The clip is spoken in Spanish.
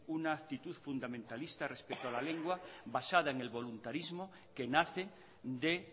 una actitud fundamentalista respecto a la lengua basada en el voluntarismo que nace de